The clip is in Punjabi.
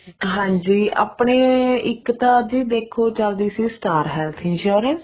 ਹਾਂਜੀ ਆਪਣੇ ਇੱਕ ਤਾਂ ਜੀ ਦੇਖੋ ਚੱਲਦੀ ਸੀ star health insurance